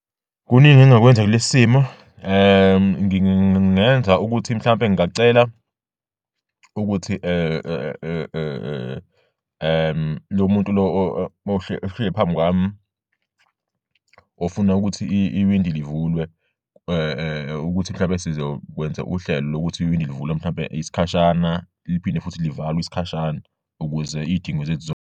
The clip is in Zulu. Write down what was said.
Kuningi engingakwenza kulesi simo, ngingenza ukuthi mhlawumbe ngingacela ukuthi lo muntu lo ohleli phambi kwami ofuna ukuthi iwindi livulwe, ukuthi mhlawumbe sizokwenza uhlelo lokuthi iwindi livulwe mhlawumbe isikhashana liphinde futhi livalwe isikhashana ukuze iy'dingo zethu .